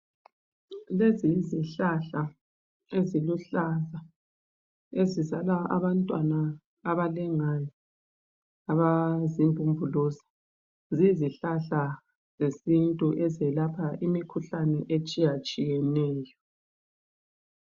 Lezi yezihlahla eziluhlaza ,ezizala abantwana abalengayo abazimbumbuluza. Ziyizihlahla zesintu ezelapha imkhuhlane etshiyatshiyeneyo.